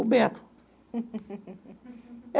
O Beto.